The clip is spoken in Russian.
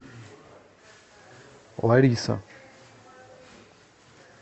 лариса